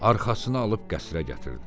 Arxasına alıb qəsrə gətirdi.